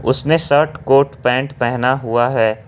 उसने shirt coat pant पहना हुआ है।